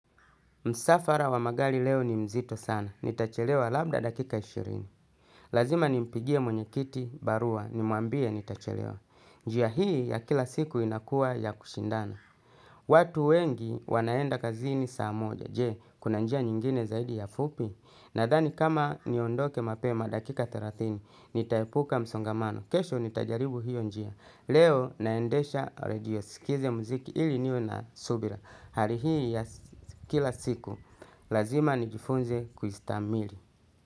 Msafara wa magari leo ni mzito sana. Nitachelewa labda dakika ishirini. Lazima nimpigie mwenyekiti, barua, nimuambie nitachelewa. Njia hii ya kila siku inakuwa ya kushindana. Watu wengi wanaenda kazini saa moja. Je, kuna njia nyingine zaidi ya fupi. Nadhani kama niondoke mapema dakika thelathini, nitaepuka msongamano. Kesho nitajaribu hiyo njia. Leo naendesha radio skize muziki ili niwe na subira. Hali hii ya kila siku, lazima nijifunze kuistamili.